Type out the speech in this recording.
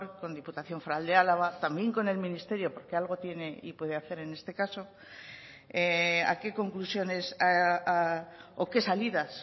con diputación foral de álava también con el ministerio porque algo tiene y puede hacer en este caso a qué conclusiones o qué salidas